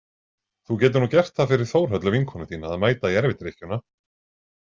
Þú getur nú gert það fyrir Þórhöllu vinkonu þína að mæta í erfidrykkjuna.